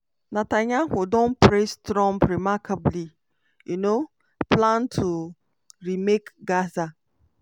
netanyahu don praise trump "remarkable" um plan to re-make gaza.